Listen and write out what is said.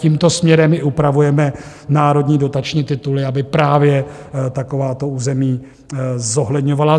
Tímto směrem i upravujeme národní dotační tituly, aby právě takováto území zohledňovaly.